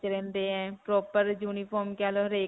ਰਹਿੰਦੇ ਹੈ. proper uniform ਕਹਿ ਲੋ. ਹਰੇਕ